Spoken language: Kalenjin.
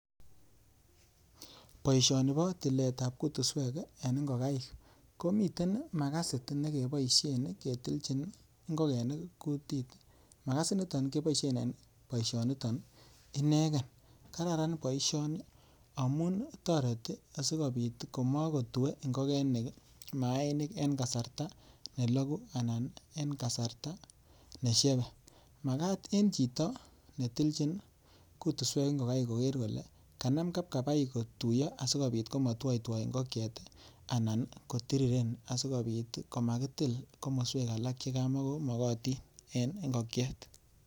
poishanii kotilet ap kutusweek eng ingokaiik komitei makasiit nekepaisheen ketileen kutusweek kwak simaam maiik yaaame anan koyalagu maiik